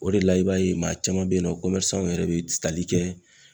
O de la i b'a ye maa caman bɛ ye nɔ yɛrɛ bɛ tali kɛ